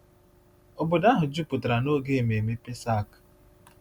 Obodo ahụ jupụtara n’oge ememme Pesach.